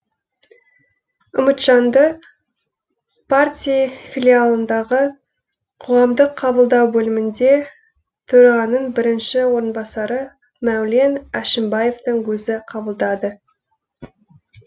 үмітжанды партии филиалындағы қоғамдық қабылдау бөлімінде төрағаның бірінші орынбасары мәулен әшімбаевтың өзі қабылдады